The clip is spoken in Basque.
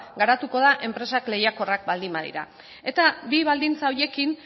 garatuko da enpresak lehiakorrak baldin badira eta bi baldintza horiekin